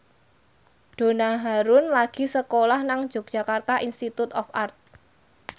Donna Harun lagi sekolah nang Yogyakarta Institute of Art